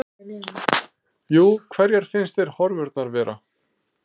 Jú, hverjar finnst þér horfurnar vera?